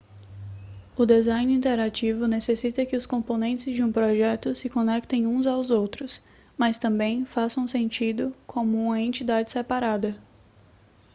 o design interativo necessita que os componentes de um projeto se conectem uns aos outros mas também façam sentido como uma entidade separada